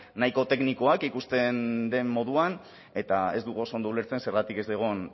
nahiko teknikoak ikusten den moduan eta ez dugu oso ondo ulertzen zergatik ez den